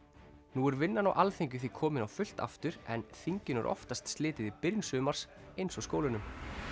nú er vinnan á Alþingi því komin á fullt aftur en þinginu er oftast slitið í byrjun sumars eins og skólunum